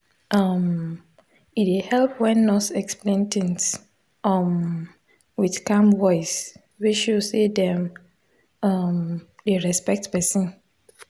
um e dey help when nurse explain things um with calm voice wey show say dem um dey respect person.